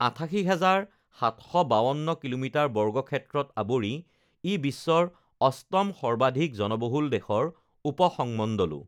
আঠাশী হাজাৰ সাতশ বাৱন্ন কিলোমিটাৰ বৰ্গ ক্ষেত্ৰত আৱৰি ই বিশ্বৰ অষ্টম সৰ্বাধিক জনবহুল দেশৰ উপসংমণ্ডলো